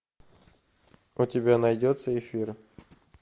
у тебя найдется эфир